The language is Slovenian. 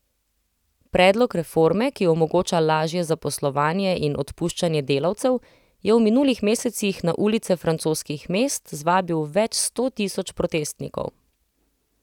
Predlog reforme, ki omogoča lažje zaposlovanje in odpuščanje delavcev, je v minulih mesecih na ulice francoskih mest zvabil več sto tisoč protestnikov.